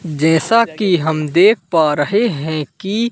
जैसा कि हम देख पा रहे है कि--